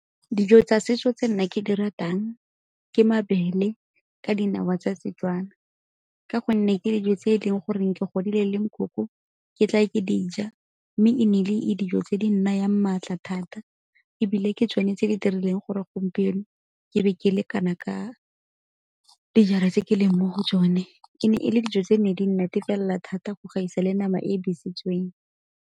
Dijo tsa setso tse nna ke di ratang ke mabele ka dinawa tsa Setswana, ka gonne ke dijo tse e leng goreng ke godile le nkoko ke tla ke di ja. Mme e nnile e dijo tse di nnayang maatla thata ebile ke tsone tse di dirileng gore gompieno ke be ke le kana ka dijara tse ke leng mo go tsone. E ne e le dijo tse ne di nnatefelela thata go gaisa le nama e besitsweng.